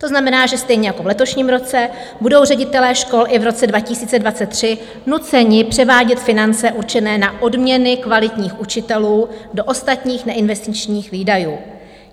To znamená, že stejně jako v letošním roce budou ředitelé škol i v roce 2023 nuceni převádět finance určené na odměny kvalitních učitelů do ostatních neinvestičních výdajů.